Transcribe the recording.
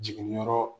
Jiginniyɔrɔ